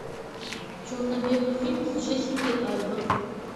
черно белый фильм с джессикой альба